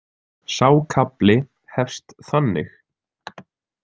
Sá kafli hefst þannig